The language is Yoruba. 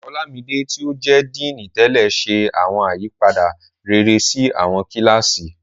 Olámidé, tí ó jẹ́ Díìnì tẹ́lẹ̀, ṣe awọn àyípadà rere sí àwọn kíláàsì.